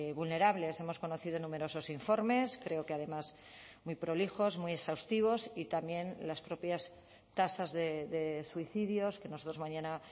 vulnerables hemos conocido numerosos informes creo que además muy prolijos muy exhaustivos y también las propias tasas de suicidios que nosotros mañana